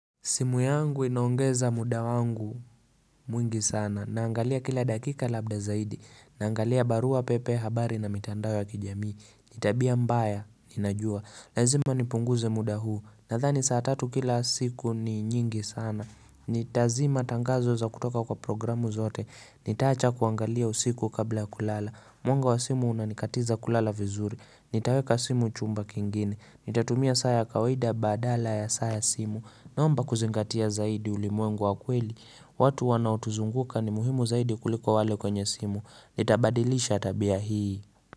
Simu yangu inaongeza muda wangu mwingi sana, naangalia kila dakika labda zaidi, naangalia barua pepe habari na mitandao ya kijamii, ni tabia mbaya, ninajua, lazima nipunguze muda huu, nadhani saa tatu kila siku ni nyingi sana, nitazima tangazo za kutoka kwa programu zote, nitaacha kuangalia usiku kabla kulala, mwanga wa simu unanikatiza kulala vizuri, nitaweka simu chumba kingine, nitatumia saa ya kawaida badala ya saa ya simu, Naomba kuzingatia zaidi ulimwengu wa kweli watu wanaotuzunguka ni muhimu zaidi kuliko wale kwenye simu nitabadilisha tabia hii.